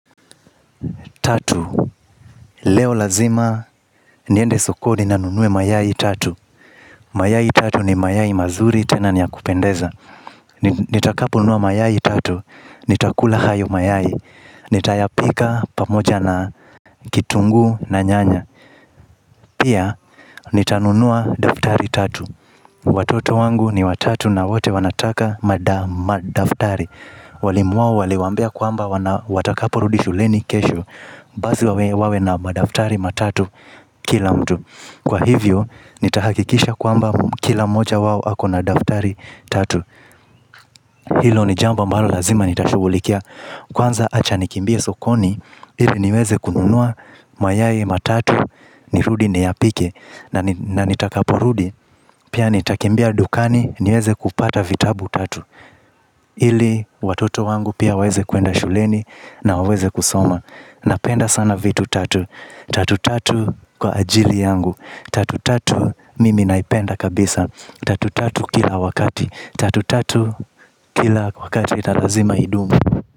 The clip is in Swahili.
Tatu, leo lazima niende sokoni ninunue mayai tatu. Mayai tatu ni mayai mazuri tena niyakupendeza. Nitakaponunua mayai tatu, nitakula hayo mayai. Nitayapika pamoja na kitungu na nyanya. Pia, nitanunua daftari tatu. Watoto wangu ni watatu na wote wanataka madaftari. Walimu wao waliwaambia kwamba watakaporudi shuleni kesho basi wawe na madaftari matatu kila mtu. Kwa hivyo nitahakikisha kwamba kila mmoja wao akona daftari tatu. Hilo ni jambo ambalo lazima nitashughulikia. Kwanza, acha nikimbie sokoni ili niweze kununua mayai matatu. Nirudi niyapike. Na nitakaporudi pia nitakimbia dukani niweze kupata vitabu tatu. Ili watoto wangu pia waweze kwenda shuleni na waweze kusoma. Napenda sana vitu tatu. Tatu tatu kwa ajili yangu. Tatu tatu mimi naipenda kabisa. Tatu tatu kila wakati. Tatu tatu kila wakati, na lazima idumu.